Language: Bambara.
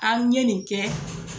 An n ye nin kɛ